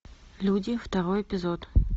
люди второй эпизод